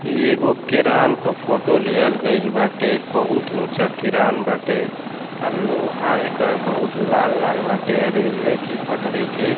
इ एगो किरान क फोटो लियल गइल बाटई बहुत ऊँचा किरान बाटे अ लोहा एकर बहुत लाल लाल बाटे रेलवे की पटरी के।